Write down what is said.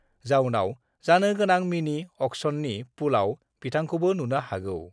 जाउनाव जानो गोनां मिनि-अक्सननि पुलआव बिथांखौबो नुनो हागौ।